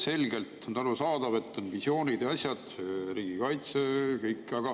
Selgelt on arusaadav, et on visioonid ja sellised asjad, näiteks riigikaitse.